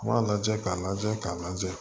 U b'a lajɛ k'a lajɛ k'a lajɛ